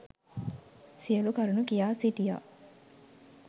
සියලු කරුණු කියා සිටියා.